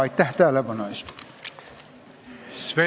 Aitäh tähelepanu eest!